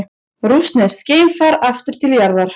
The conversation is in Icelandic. Rússneskt geimfar aftur til jarðar